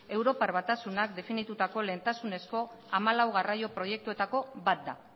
europar batasunak definitutako lehentasunezko hamalau garraio proiektuetako bat da